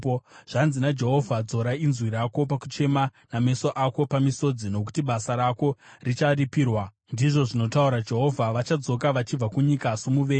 Zvanzi naJehovha: “Dzora inzwi rako pakuchema nameso ako pamisodzi, nokuti basa rako richaripirwa,” ndizvo zvinotaura Jehovha. “Vachadzoka vachibva kunyika yomuvengi.